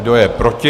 Kdo je proti?